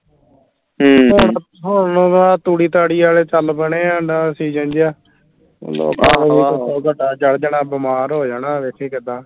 ਹਮ ਹੁਣ ਉਹ ਗਾਂਹ ਤੂੜੀ ਤਾੜੀ ਆਲੇ ਚੱਲ ਪੈਣੇ ਆ ਜਿਹਾ ਚੜ੍ਹ ਜਾਣਾ ਬਿਮਾਰ ਹੋ ਜਾਣਾ ਵੇਖੀਂ ਕਿੱਦਾਂ